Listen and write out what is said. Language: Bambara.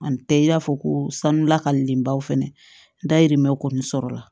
Ani tɛ i n'a fɔ ko sanula ka lenbaw fɛnɛ dayirimɛw kɔni sɔrɔla